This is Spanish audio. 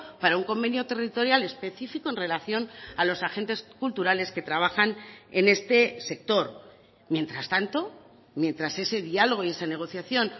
para un convenio territorial específico en relación a los agentes culturales que trabajan en este sector mientras tanto mientras ese diálogo y esa negociación